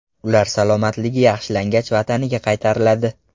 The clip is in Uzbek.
Ular salomatligi yaxshilangach, vataniga qaytariladi.